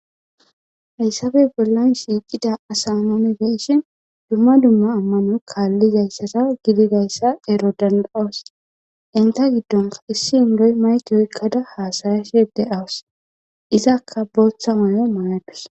Haysappe bollan shiqida asa nun be'izaysan dumma dumma amano kalizaysa gidoysa ero danda'os. nissi Indoy mayke (mic) oykada hasa'ashe dawus. Izka qase bootha mayo mayadus .